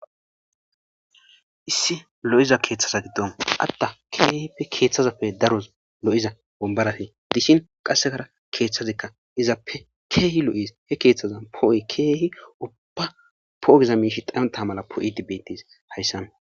Issi lo'iza keththaza giddon adda keehippe keththappe lo'iza wombaratti diishin qasekka keththazii iizappe keehi lo'es he kethtthaza po'oy uubba po'o giza miishshi dhayontta mala poo'idii beetes hayssan